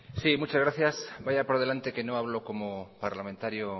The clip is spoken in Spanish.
sí muchas gracias vaya por delante que no hablo como parlamentario